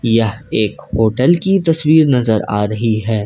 यह एक होटल की तस्वीर नजर आ रही है।